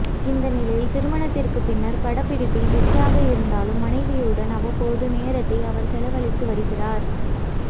இந்த நிலையில் திருமணத்திற்கு பின்னர் படப்பிடிப்பில் பிசியாக இருந்தாலும் மனைவியுடனும் அவ்வப்போது நேரத்தை அவர் செலவழித்து வருகிறார்